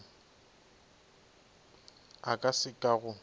a ka se ka go